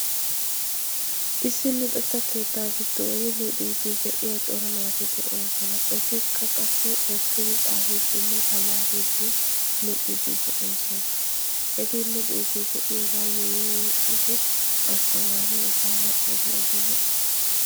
issi luuxetta keettaa giddon luuxiiddi de'iya cora naati de'oosona etikka qassi hokkidi xaafiddinne tamaariiddi luuxiiddi de'oosona eti luuxiiddi de'iyoogaayyo yuuyi ahdhiidi asttamaari etaaa xeelliiddi de'ees